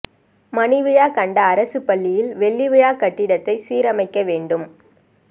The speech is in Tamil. மணி விழா கண்ட அரசு பள்ளியில் வெள்ளி விழா கட்டிடத்தை சீரமைக்க வேண்டும்